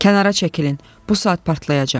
Kənara çəkilin, bu saat partlayacaq!